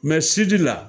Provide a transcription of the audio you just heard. Mɛ sidi la